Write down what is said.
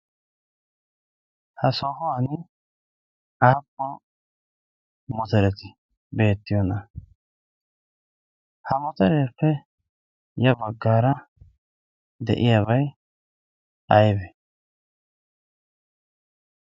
ha soohuwan aappun motereti beettiyoona? ha motereetuppe ya baggaara de7iyaabai aibee?